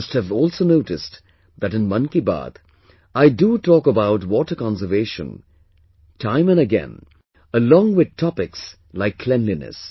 You must have also noticed that in 'Mann Ki Baat', I do talk about water conservation again and again along with topics like cleanliness